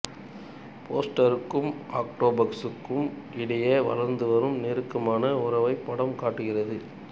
போஸ்டருக்கும் ஆக்டோபசுக்கும் இடையே வளர்ந்து வரும் நெருக்கமான உறவை படம் காட்டுகிறது